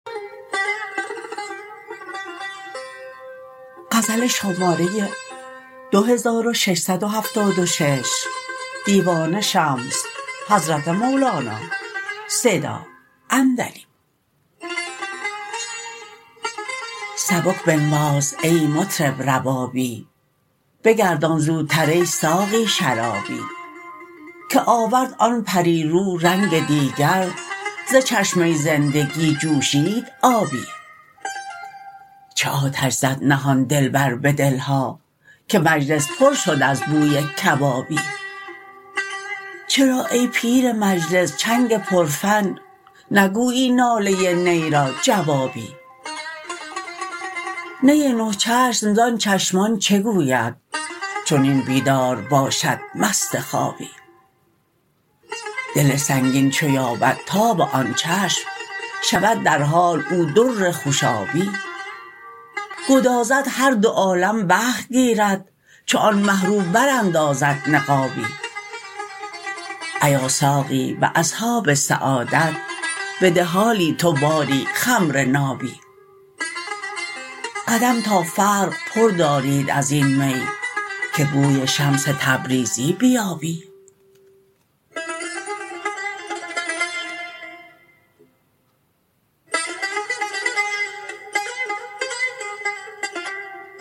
سبک بنواز ای مطرب ربابی بگردان زوتر ای ساقی شرابی که آورد آن پری رو رنگ دیگر ز چشمه زندگی جوشید آبی چه آتش زد نهان دلبر به دل ها که مجلس پر شد از بوی کبابی چرا ای پیر مجلس چنگ پرفن نگویی ناله نی را جوابی نی نه چشم زان چشمان چه گوید چنین بیدار باشد مست خوابی دل سنگین چو یابد تاب آن چشم شود در حال او در خوشابی گدازد هر دو عالم بحر گیرد چون آن مه رو براندازد نقابی ایا ساقی به اصحاب سعادت بده حالی تو باری خمر نابی قدم تا فرق پر دارید از این می که بوی شمس تبریزی بیابی